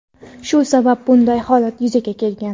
Shu sabab bunday holat yuzaga kelgan.